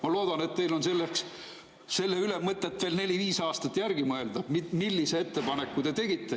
Ma loodan, et teil on selle üle mõtet veel neli-viis aastat mõelda, millise ettepaneku te tegite.